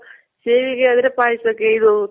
ಸೇವಿಗೆ ಆದ್ರೆ ಪಾಯ್ಸಕ್ಕೆ ಇದು